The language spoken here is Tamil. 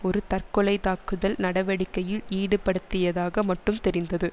ஒரு தற்கொலைத்தாக்குதல் நடவடிக்கையில் ஈடுபடுத்தியதாக மட்டுமே தெரிந்தது